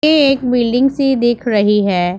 ये एक बिल्डिंग सी दिख रही है।